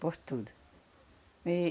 Por tudo.